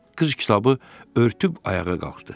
Qız kitabı örtüb ayağa qalxdı.